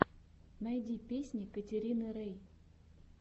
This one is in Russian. найди песни катерины рей